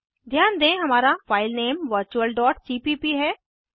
ध्यान दें हमारा फाइलनेम virtualसीपीप है